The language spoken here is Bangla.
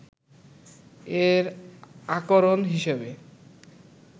এর আকরণ হিসেবে